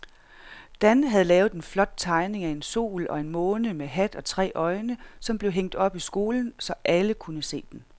Dan havde lavet en flot tegning af en sol og en måne med hat og tre øjne, som blev hængt op i skolen, så alle kunne se den.